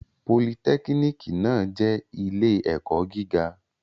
Politẹ́kínìkì náà jẹ́ ilé-ẹ̀kọ́ gíga.